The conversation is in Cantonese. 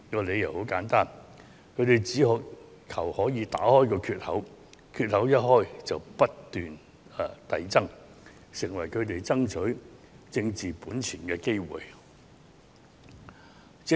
理由很簡單，他們只求打開缺口，一打開缺口便可以不斷擴大，成為他們爭取政治本錢的機會。